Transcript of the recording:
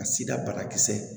Ka sida banakisɛ